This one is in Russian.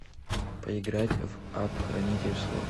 поиграть в апп хранитель слов